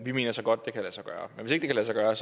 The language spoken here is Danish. vi mener så godt det kan lade sig gøre